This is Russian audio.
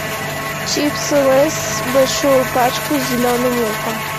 чипсы лейс большую пачку с зеленым луком